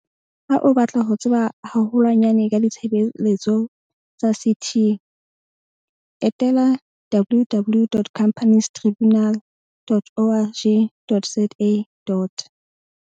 Ha o batla ho tseba haho lwanyane ka ditshebeletso tsa CT, etela www.companiestribu nal.org.za.